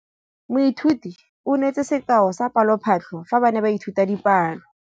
Moithuti o neetse sekaô sa palophatlo fa ba ne ba ithuta dipalo.